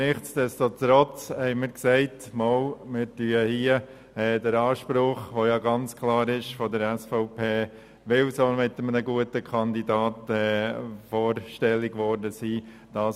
Nichtdestotrotz haben wir gesagt, wir anerkennen hier den Anspruch der SVP, auch weil sie mit einem guten Kandidaten vorstellig geworden ist.